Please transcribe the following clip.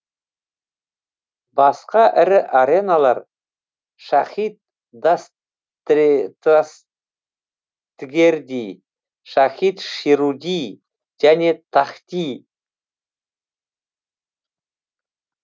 басқа ірі ареналар шахид дастгерди шахид шируди және тахти